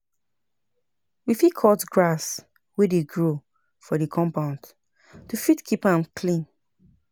We fit cut grass wey dey grow for di compound to fit keep am clean